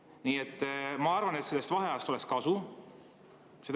Nii et ma arvan, et sellest vaheajast oleks kasu.